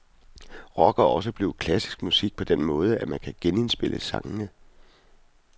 Rock er også blevet klassisk musik på den måde, at man kan genindspille sangene.